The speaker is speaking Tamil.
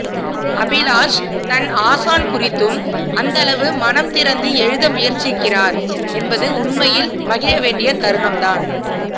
அபிலாஷ் தன் ஆசான் குறித்தும் அந்தளவு மனம் திறந்து எழுத முயற்சிக்கிறார் என்பது உண்மையில் மகிழவேண்டிய தருணம்தான்